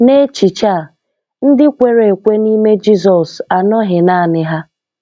n'echiche a, ndị kwere ekwe n'ime Jizọs anoghi naanị ha.